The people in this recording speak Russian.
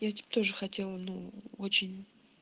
я типо тоже хотела ну очень